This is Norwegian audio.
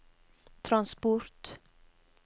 transport